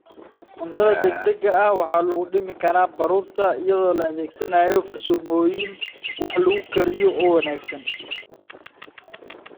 Cuntada degdega ah waxaa lagu dhimi karaa baruurta iyadoo la adeegsanayo farsamooyin wax lagu kariyo oo wanaagsan.